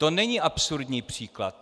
To není absurdní příklad.